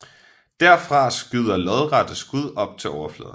Derfra skyder lodrette skud op til overfladen